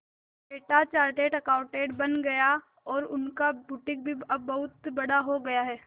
बेटा chartered accountant बन गया और उनका बुटीक भी अब बहुत बड़ा हो गया है